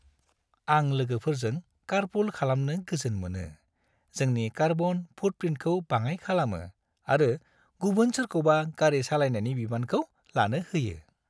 आं लोगोफोरजों कारपुल खालामनो गोजोन मोनो, जोंनि कार्बन फुटप्रिन्टखौ बाङाइ खालामो आरो गुबुन सोरखौबा गारि सालायनायनि बिबानखौ लानो होयो।